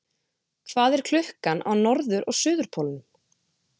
Hvað er klukkan á norður- og suðurpólnum?